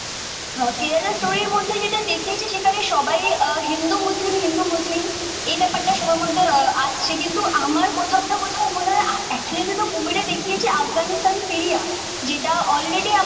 কেরেলা স্টোরির মধ্যে যেটা দেখিয়েছে সেখানে সবাই হিন্দু মুসলিম হিন্দু মুসলিম এই ব্যাপার তা সবার মধ্যে আসছে কিন্তু আমার কোথাও না কোথাও মনে হয়ে একচুয়ালি তে তো মুভি টা দেখিয়েছে আফগানিস্তান সিরিয়া যেটা অলরেডি